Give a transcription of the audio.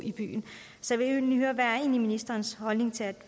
så jeg vil høre hvad er egentlig ministerens holdning til at